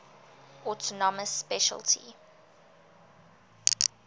autonomous specialty